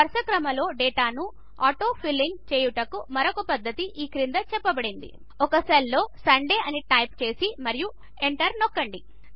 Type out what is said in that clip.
వరుసక్రమంలో డేటాను auto filling చేయుటకు మరొక పద్ధతి ఈ క్రింద చెప్పబడింది ఒక సెల్లో సండే అని టైప్ చేసి మరియు ఎంటర్ ప్రెస్ చేయండి